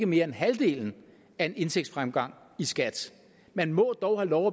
mere end halvdelen af en indtægtsfremgang i skat man må dog have lov